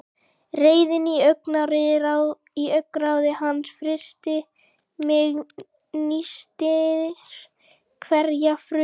Reiðin í augnaráði hans frystir mig, nístir hverja frumu.